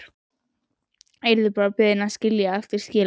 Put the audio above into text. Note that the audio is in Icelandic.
Yrði bara beðin að skilja eftir skilaboð.